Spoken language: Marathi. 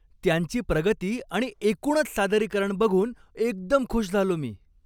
त्यांची प्रगती आणि एकूणच सादरीकरण बघून एकदम खुश झालो मी.